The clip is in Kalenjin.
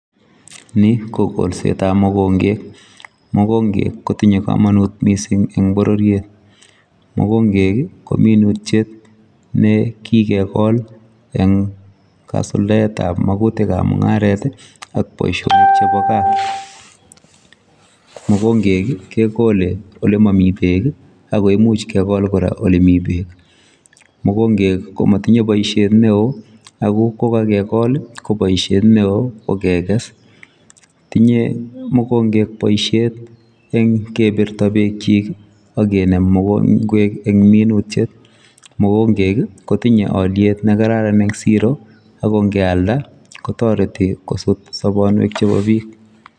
Ni ko kolset ab mokongeek , mokongeek kotinyei kamanut missing en bororiet, mokongeek ii ko minutiet ne kigegol eng kasultaet ab magutiik ab mungaret ii ak boisionik chebo gaah mokongeek ii kegole ole mamii beek ii ak kora ole Mii beek , mokongeek ii komatinyei boisiet ne wooh ako ko kagekol ii ko boisiet ne wooh ko keges , tinyei mokongeek boisiet eng kebirtaa beek kyiik ii ak kinem ngweek en minutiet, mokongeek ii kotinyei aliet ne kararan en siro ako keyaldaa kotaretii soboonweek chebo biik .